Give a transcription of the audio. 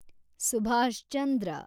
Subhash Chandra